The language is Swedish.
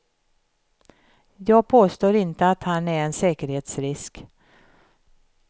Jag påstår inte att han är en säkerhetsrisk.